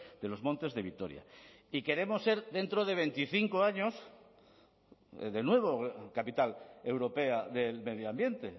de los montes de vitoria y queremos ser dentro de veinticinco años de nuevo capital europea del medio ambiente